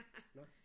Nåh